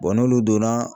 n'olu donna